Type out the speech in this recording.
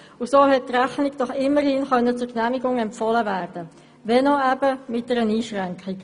So konnte die Rechnung doch immerhin zur Genehmigung empfohlen werden, wenn auch mit einer Einschränkung.